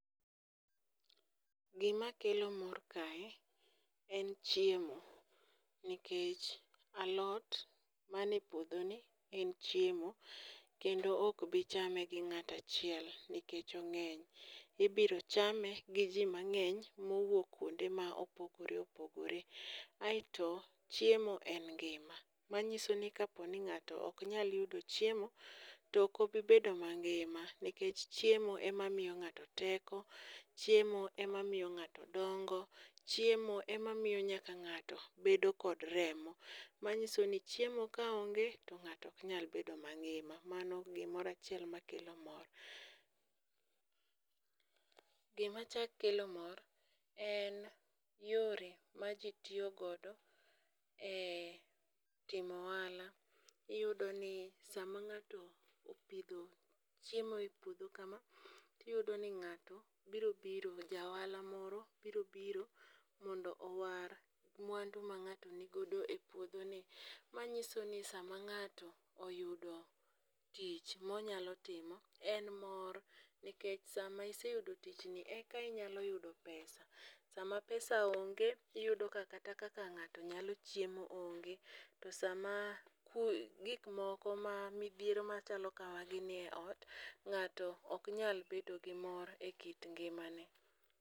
Gimakelo mor kae en chiemo nikech alot mane puodhoni en chiemo kendo ok bi chame gi ng'ato achiel nikech ong'eny, ibiro chame gi ji mang'eny mowuok kwonde ma opogore opogore, kaeto chiemo en ngima ,manyiso ni kaponi ng'ato ok nyal yudo chiemo, to ok obobibedo mangima nikech chiemo ema miyo ng'ato teko, chiemo emamiyo ng'ato donjgo, chiemo emamiyo nyaka ng'ato bedo kod remo, manyiso ni chiemo ka onge to ng'ato ok nyal bedo mangima, mano gimoro achiel makelo mor. Gimachako kelo mor en yore ma ji tiyo godo e timo ohala ,iyudoni sama ng'ato opidho chiemo e puodho kama, tiyudo ni ng'ato biro biro, ja ohala moro biro biro mondo owar mwandu ma ng'ato ni godo e puodhoni, manyiso ni sama ng'ato oyudo tich moyalo timo, en mor ikech sama iseyudo tichni eka inyalo yudo pesa, sama pesa onge iyudo ka kata ng'ato nyalo chiemo onge to sama gik moko ma midhiero machalo kamagi ni e ot, ng'ato ok nyal bedo gi mor e kit ngimane.